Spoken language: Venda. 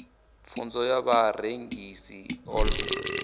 pfunzo ya vharengi i ḓo